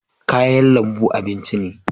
Kayan lambu abinci ne